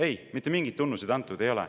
Ei, mitte mingeid tunnuseid antud ei ole.